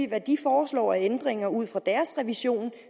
hvad de foreslår af ændringer ud fra deres revision